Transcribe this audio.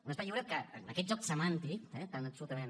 un espai lliure que amb aquest joc semàntic tan absolutament